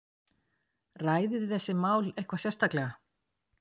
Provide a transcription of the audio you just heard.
Ræðið þið þessi mál eitthvað sérstaklega?